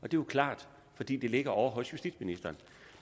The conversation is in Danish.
jo klart fordi det ligger ovre hos justitsministeren